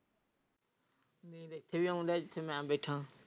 ਇੱਥੇ ਹੀ ਆਉਣ ਡਯਾ ਜਿੱਥੇ ਮੈਂ ਬੈਠਾ।